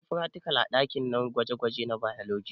Eh munyi fratikal a ɗakin gwaje gwaje na bailoji